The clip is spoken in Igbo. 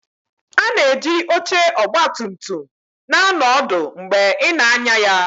A na-eji oche ọgba tum tum na-anọ ọdụ mgbe ị na-anya ya